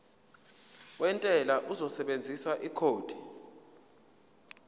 wentela uzosebenzisa ikhodi